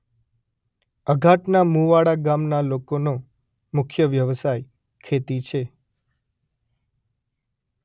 અઘાટના મુવાડા ગામના લોકોનો મુખ્ય વ્યવસાય ખેતી છે.